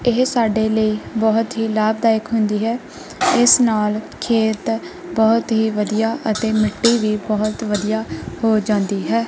ਇਹ ਸਾਡੇ ਲਈ ਬਹੁਤ ਹੀ ਲਾਭਦਾਇਕ ਹੁੰਦੀ ਹੈ ਇਸ ਨਾਲ ਖੇਤ ਬਹੁਤ ਹੀ ਵਧੀਆ ਅਤੇ ਮਿੱਟੀ ਵੀ ਬਹੁਤ ਵਧੀਆ ਹੋ ਜਾਂਦੀ ਹੈ।